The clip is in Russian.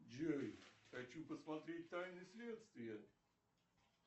джой хочу посмотреть тайны следствия